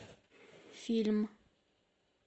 фильм